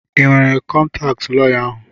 I nwere kọntaatị lọya ahụ?